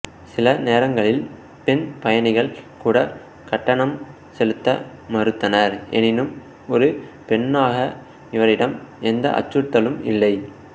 சில நேரங்களில் பெண் பயணிகள் கூட கட்டணம் செலுத்த மறுத்தனர் ஏனெனில் ஒரு பெண்ணாக இவரிடம் எந்த அச்சுறுத்தலும் இல்லை